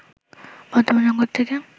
বর্তমান সংকট থেকে